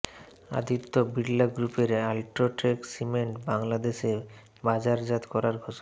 আদিত্য বিরলা গ্রুপের UltraTech cement বাংলাদেশে বাজারজাত করার ঘোষণা